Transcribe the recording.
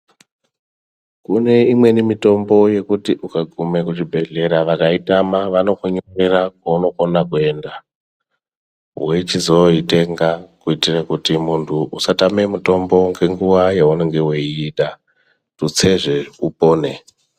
Kune imweni mitombo yekuti ukagume kuchibhedhlera vakautama, vanokunyorera kwaunokona kuenda wechizooitenga kuitire kuti muntu usatame mutombo ngenguwa yewunenge weiuda tutsezve upone.